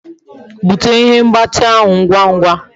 Bute ihe mgbati ahu ahu ngwa ngwa